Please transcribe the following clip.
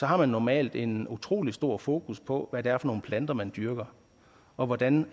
har man normalt en utrolig stor fokus på hvad det er for nogle planter man dyrker og hvordan